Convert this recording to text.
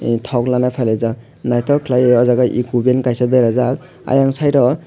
e tok laina pailajak naitok kelaioe eko ban berajak ayang site o.